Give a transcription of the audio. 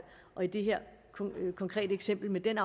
i det her konkrete eksempel med den